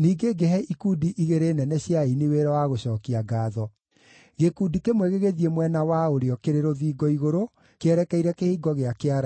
Ningĩ ngĩhe ikundi igĩrĩ nene cia aini wĩra wa gũcookia ngaatho. Gĩkundi kĩmwe gĩgĩthiĩ mwena wa ũrĩo kĩrĩ rũthingo-igũrũ, kĩerekeire Kĩhingo gĩa Kĩara-inĩ.